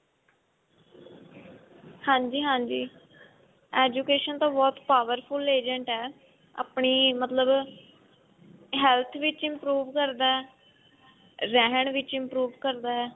ਹਾਂਜੀ ਹਾਂਜੀ education ਤਾਂ ਬਹੁਤ powerful agent ਹੈ ਆਪਣੀ ਮਤਲਬ health ਵਿੱਚ improve ਕਰਦਾ ਰਹਿਣ ਵਿੱਚ improve ਕਰਦਾ ਹੈ